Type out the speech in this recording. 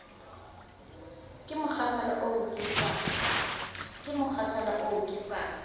ke mokgathala oo ke sa